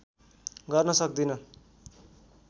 गर्न सक्दिन